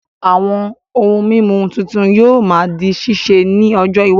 Àwọn ohun mímu tuntun yóò máa di ṣíṣe ní ọjọ iwájú